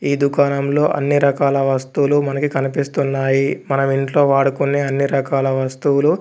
ఈ దుకాణంలో అన్ని రకాల వస్తువులు మనకి కనిపిస్తున్నాయి మనం ఇంట్లో వాడుకునే అన్ని రకాల వస్తువులు--